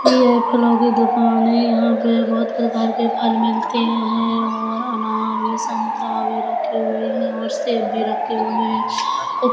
ये फलों की दुकान है यहां पर बहुत प्रकार के फल मिलते हैं और अनार भी संतरा भी रखे हुए हैं और सेब भी रखे हुए हैं। और --